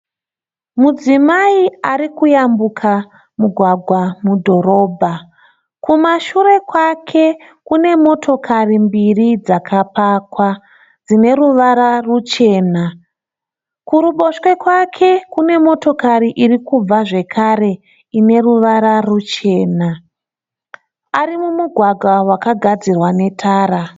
Mudzimai arikuyambuka mugwagwa mudhorobha kumashure kwake kune motokari mbiri dzakapakwa dzineruvara ruchena. Kuruboshwe kwake kune motokari irikubva zvekare, ineruvara ruchena. Arimugwagwa wakagadzirwa netara.